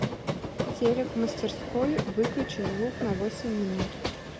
телек в мастерской выключи звук на восемь минут